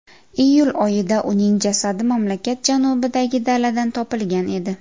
Iyul oyida uning jasadi mamlakat janubidagi daladan topilgan edi.